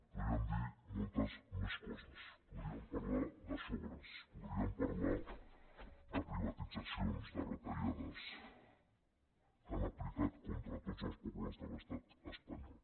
podríem dir moltes més coses podríem parlar de sobres podríem parlar de privatitzacions de retallades que han aplicat contra tots els pobles de l’estat espanyol